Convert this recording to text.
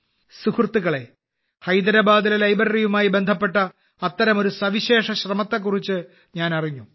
സുഹൃത്തുക്കളെ ഹൈദരാബാദിലെ ലൈബ്രറിയുമായി ബന്ധപ്പെട്ട അത്തരം ഒരു സവിശേഷ ശ്രമത്തെക്കുറിച്ച് ഞാനറിഞ്ഞു